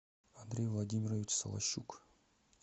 андрей владимирович солощук